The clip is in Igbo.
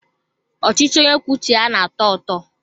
Ọchịchị onye kwuo uche ya na-atọ ụtọ.